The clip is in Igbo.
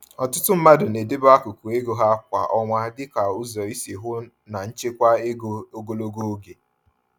Ọtụtụ mmadụ na-edebe akụkụ ego ha kwa ọnwa dịka ụzọ isi hụ na nchekwa ego ogologo oge.